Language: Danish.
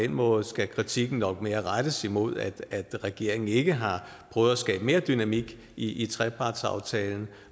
den måde skal kritikken nok mere rettes imod at regeringen ikke har prøvet at skabe mere dynamik i i trepartsaftalen